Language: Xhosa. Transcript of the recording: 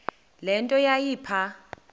le nto yayipha